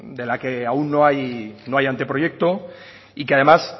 de la que aún no hay anteproyecto y que además